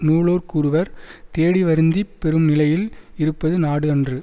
நூலோர் கூறுவர் தேடிவருந்திப் பெறும் நிலையில் இருப்பது நாடு அன்று